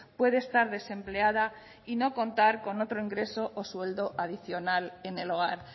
puede estar desempleada y no contar con otro ingreso o sueldo adicional en el hogar